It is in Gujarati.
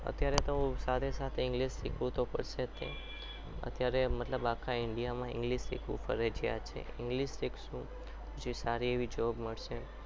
અત્યારે તો સાથે સાથે english શીખવું પણ શીખવું તો પડશે જ અત્યારે મતલબ આખા india માં english શીખવું ફરજિયાત છે english શીખશું તો સારી એવી job મળશે.